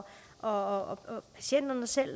og patienterne selv